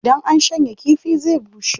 Idan an shanya kifi zai bushe.